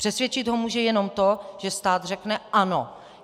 Přesvědčit ho může jenom to, že stát řekne: Ano!